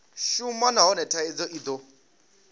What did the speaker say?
shuma nahone thaidzo i do